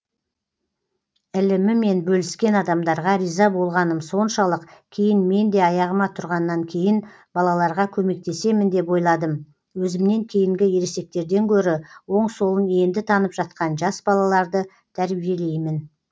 ілімімен бөліскен адамдарға риза болғаным соншалық кейін мен де аяғыма тұрғаннан кейін балаларға көмектесемін деп ойладым өзімнен кейінгі ересектерден гөрі оң солын енді танып жатқан жас балаларды тәрбиелеймін